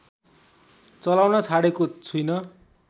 चलाउन छाडेको छुइन